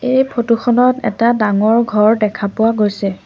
এই ফটো খনত এটা ডাঙৰ ঘৰ দেখা পোৱা গৈছে।